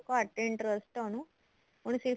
ਘੱਟ interest ਏ ਉਹਨੂੰ ਉਹਨੇ ਸਿਰਫ